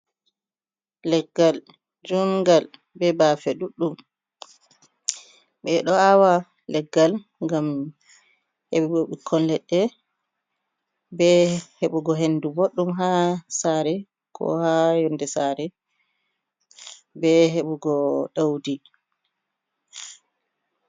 Leggal jungal be bafe ɗuɗɗum ɓeɗo awa leggal ngam heɓugo ɓikkon leɗɗe ɓe hebugo hendu boɗɗum ha sare ko ha yonde saare be hebugo ɗaudi.